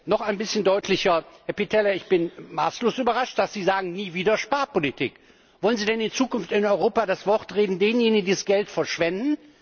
Noch ein bisschen deutlicher Herr Pittella, ich bin maßlos überrascht, dass Sie sagen Nie wieder Sparpolitik! Wollen Sie denn in Zukunft in Europa denjenigen das Wort reden, die das Geld verschwenden?